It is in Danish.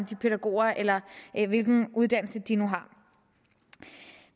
pædagoger eller hvilken uddannelse de nu har